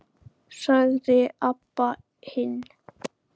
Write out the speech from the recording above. sagði Abba hin.